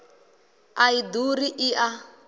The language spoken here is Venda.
a i ḓuri i a